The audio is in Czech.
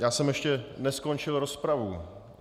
Já jsem ještě neskončil rozpravu.